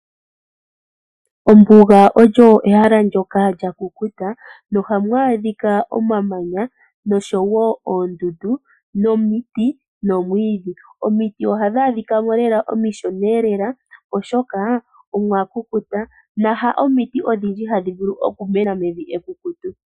Ombuga Oyo ehala ndyoka lyakukuta. Ohamu adhika omamanya , oondundu, omiti nayilwe. Omiti ohadhi adhika mo omishona lela, molwaashoka evi olya kukuta. Omiti haadhihe hadhi mene mevi lya kukuta.